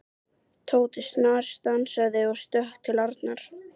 Tóti snarstansaði og stökk til Arnar.